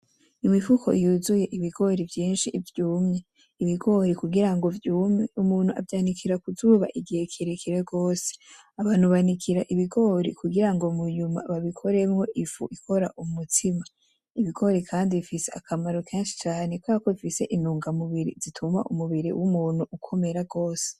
Imifuko yuzuye ibigori vyinshi vyumye ,ibigori kugirango vyume umuntu avyanikira kuzuba igihe kirekire gose, abantu banikira ibigori kugirango munyuma babikoremwo ifu ikora umutsima ibigori kandi bifis akamaro kenshi cane kuberako bifise intunga mubiri zituma umubiri w' umuntu ukomera gose.